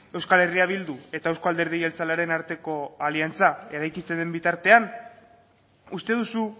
euskal herria bildu eta euzko alderdi jeltzalearen arteko aliantza eraikitzen den bitartean uste duzu